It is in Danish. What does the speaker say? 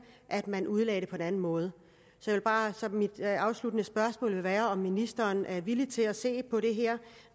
at man udlagde det på en anden måde så mit afsluttende spørgsmål vil være om ministeren er villig til at se på det her